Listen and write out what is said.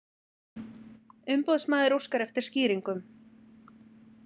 Umboðsmaður óskar eftir skýringum